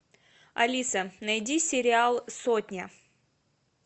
алиса найди сериал сотня